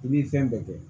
I bi fɛn bɛɛ kɛ